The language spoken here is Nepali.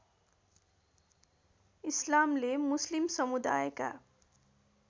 इस्लामले मुस्लिम समुदायका